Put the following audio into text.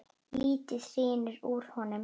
Lítið hrynur úr honum.